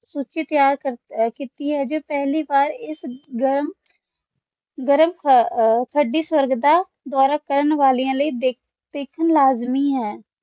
ਤੁਸੀਂ ਤਿਆਰ ਕੀਤੀ ਹੈ ਜੋ ਪਹਿਲੀ ਵਾਰ ਇਸ ਗਰਮ ਗਰਮ ਅਹ ਠੱਢੀ ਸਵਰਗ ਦਾ ਦੌਰਾ ਕਰਨ ਵਾਲਿਆਂ ਲਈ ਦੇਖਣ ਲਾਜ਼ਮੀ ਹੈ